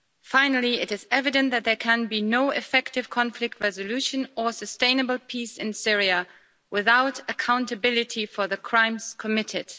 Finally, it is evident that there can be no effective conflict resolution or sustainable peace in Syria without accountability for the crimes committed.